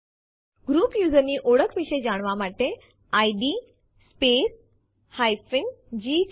group user ની ઓળખ વિશે જાણવા માટે ઇડ સ્પેસ g છે